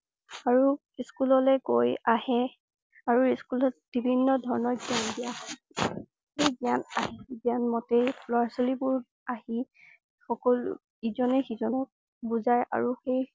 আৰু স্কুললৈ গৈ আহে আৰু স্কুলত বিভিন্ন ধৰণৰ জ্ঞান দিয়া হয়। সেই জ্ঞান~জ্ঞান মতেই ল'ৰা ছোৱালী বোৰ আহি সকল~ইজনে সিজনক বুজাই আৰু সেই